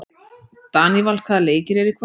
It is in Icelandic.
Daníval, hvaða leikir eru í kvöld?